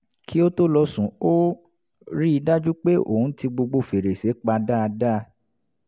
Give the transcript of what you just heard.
kí ó tó lọ sùn ó rí i dájú pé òun ti gbogbo fèrèsé pa dáadáa